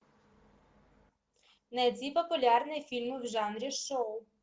найди популярные фильмы в жанре шоу